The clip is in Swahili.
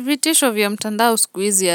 Vitisho vya mtandao sikuizi